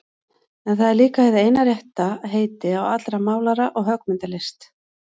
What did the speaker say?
En það er líka hið eina rétta heiti á allri málara- og höggmyndalist.